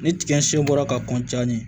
Ni tiga sen bɔra ka